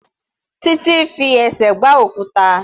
Titi fi ẹsẹ̀ gbá òkúta.